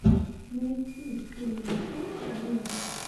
найти силенто вево